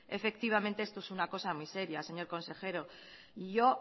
efectivamente esto es una cosa muy seria señor consejero yo